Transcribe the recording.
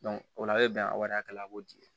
o la a bɛ bɛn wari hakɛ la a b'o di